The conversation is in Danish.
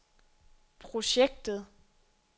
projektet